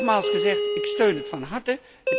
Nogmaals gezegd, ik steun het van harte.